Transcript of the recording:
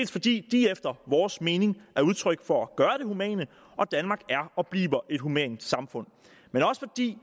fordi de efter vores mening er udtryk for at gøre det humane og danmark er og bliver et humant samfund men også fordi